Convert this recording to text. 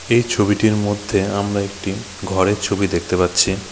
এই ছবিটির মধ্যে আমরা একটি ঘরের ছবি দেখতে পাচ্ছি।